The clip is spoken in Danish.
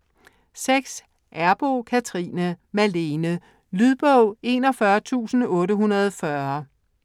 Errboe, Cathrine: Malene Lydbog 41840